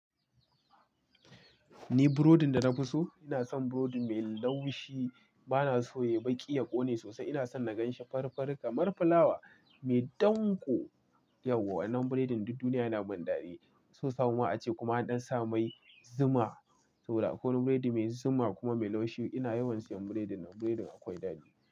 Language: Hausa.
Ni burodin da na fi so, ina son burodi mai laushi. Bana so ya yi baƙi, ya ƙone sosai. Ina son na gan shi farifari kamar fulawa mai danƙo. Yawwa wannan burodin duk duniya yana mun daɗi. So samuwa ace kuma an ɗan sa mai zuma, Ko wani burodi mai zuma kuma mai laushi. Ina yawan siyan burodin nan. Burodin akwai daɗi.